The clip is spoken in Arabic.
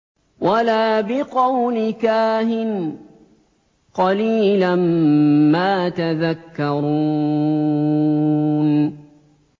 وَلَا بِقَوْلِ كَاهِنٍ ۚ قَلِيلًا مَّا تَذَكَّرُونَ